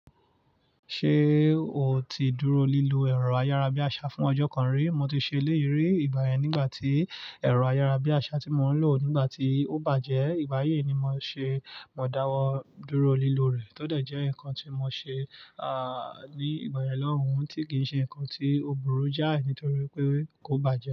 Ṣé o ti dúró lílọ ẹ̀rọ ayárabíàṣá fún ọjọ́ kan rí? Mo ti ṣe léyìí rí ìgbà yẹn nígbà tí ẹ̀rọ ayárabíàṣá tí mò ń lò nígbà tí ó bàjẹ́. Ìgbà yii ni mò ṣe, mò dáwọ́ dúró lílọ rẹ̀. Kódà jẹ́ nǹkan tí mò ṣe, à, ní ìgbà yẹn lọ́hùn ún tí kì í ṣe ǹkan tí ò burú jáì nítorí pé kò bàjẹ́